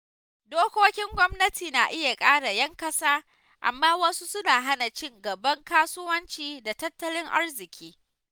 Dokokin gwamnati na iya kare ‘yan ƙasa, amma wasu suna hana ci gaban kasuwanci da tattalin arziƙi.